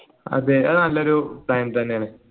അതെ അത് നല്ല ഒരു നയം തന്നെയാണ്